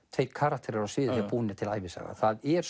tveir karakterar á sviði þegar búin er til ævisaga það er